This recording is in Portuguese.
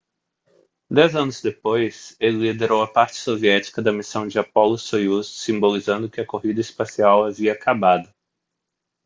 dez anos depois ele liderou a parte soviética da missão de apollo-soyuz simbolizando que a corrida espacial havia acabado